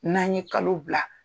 N'an ye kalo bila.